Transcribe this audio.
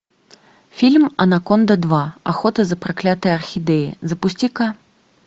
фильм анаконда два охота за проклятой орхидеей запусти ка